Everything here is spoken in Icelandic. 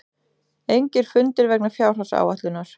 Engir fundir vegna fjárhagsáætlunar